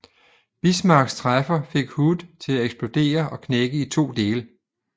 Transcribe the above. Bismarcks træffer fik Hood til eksplodere og knække i to dele